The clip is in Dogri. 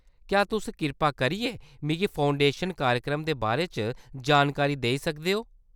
क्या तुस कृपा करियै मिगी फाउंडेशन कार्यक्रम दे बारे च जानकारी देई सकदे ओ ?